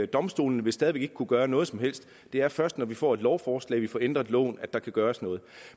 domstolene vil stadig ikke kunne gøre noget som helst det er først når vi får et lovforslag og får ændret loven at der kan gøres noget